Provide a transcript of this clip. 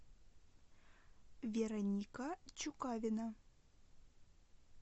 вероника чукавина